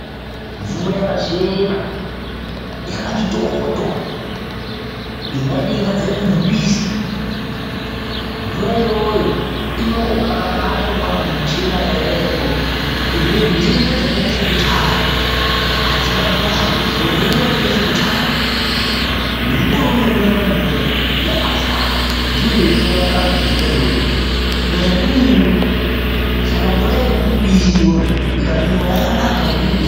Mvura yakachena, yakati toto ingaita ingabva mumupisi. Mvura iyoyo ino ukabaimwa ngekuchena kwayakaita ikoko zvirwere ntenda dzakaita sekuchaya adzibati vantu. Ngekuti ntenda yakaita sekuchaya nemukore uno wekunesa kwemvura yakazara. Ndiyo yotouraya antu nhenda iyoyo. Kunyanya ndumure. Saka mvura yemumupisi iyoyo ikamwiwa yakanaka ngekuti inobe.